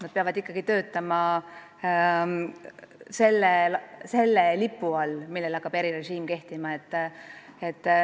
Nad peavad ikkagi töötama selle lipu all, millele erirežiim kehtima hakkab.